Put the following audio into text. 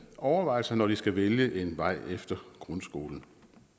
overvejelser når de skal vælge en vej efter grundskolen